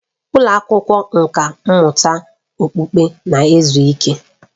Ụlọ akwụkwọ nkà mmụta okpukpe na-ezu ike